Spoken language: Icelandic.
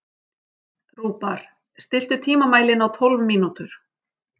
Rúbar, stilltu tímamælinn á tólf mínútur.